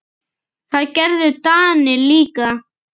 Það gerðu Danir líka.